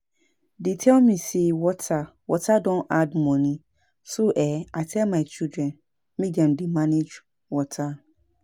Dey tell me say water water don add money so um I tell my children make dem dey manage water